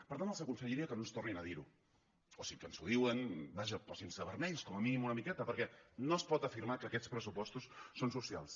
per tant els aconsellaria que no ens ho tornin a dir o que si ens ho diuen vaja posin se vermells com a mínim una miqueta perquè no es pot afirmar que aquests pressupostos són socials